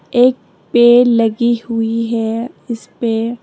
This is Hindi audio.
एक पेड़ लगी हुई है इस पे।